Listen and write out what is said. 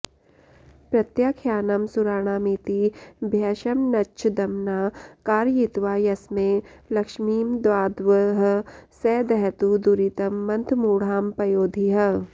प्रत्याख्यानं सुराणामिति भयशमनच्छद्मना कारयित्वा यस्मै लक्ष्मीमदाद्वः स दहतु दुरितं मन्थमूढां पयोधिः